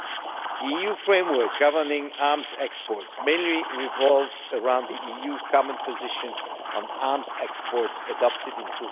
The EU framework governing arms exports mainly revolves around the EU common position on arms exports adopted in